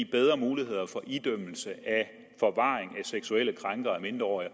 bedre muligheder for idømmelse af forvaring af seksuelle krænkere af mindreårige